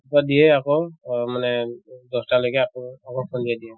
ৰাতিপুৱা দিয়ে আকৌ অহ মানে দশটা লৈকে আকৌ সন্ধিয়া দিয়ে